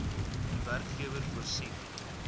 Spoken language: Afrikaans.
werkgewer voorsien